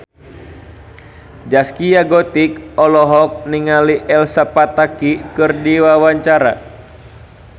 Zaskia Gotik olohok ningali Elsa Pataky keur diwawancara